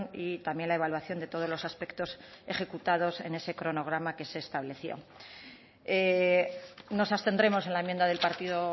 y también la evaluación de todos los aspectos ejecutados en ese cronograma que se estableció nos abstendremos en la enmienda del partido